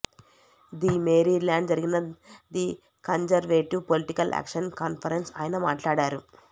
the Maryland జరిగిన the conservative political action conference ఆయన మాట్లాడారు